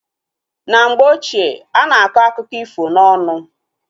Na mgbe ochie, ana akọ akụkọ ifo na ọnụ